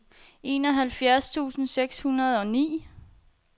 enoghalvfjerds tusind seks hundrede og ni